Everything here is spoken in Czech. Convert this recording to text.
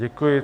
Děkuji.